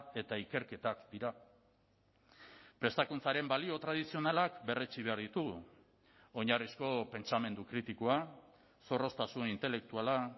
eta ikerketak dira prestakuntzaren balio tradizionalak berretsi behar ditugu oinarrizko pentsamendu kritikoa zorroztasun intelektuala